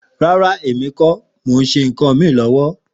Ràrá ní ò lọ, mò sẹ kàn mí lọwọ.